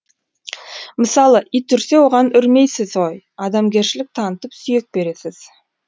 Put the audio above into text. мысалы ит үрсе оған үрмейсіз ғой адамгершілік танытып сүйек бересіз